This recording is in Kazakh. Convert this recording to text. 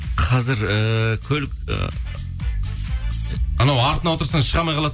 қазір ііі көлік ы анау артына отырсаң шыға алмай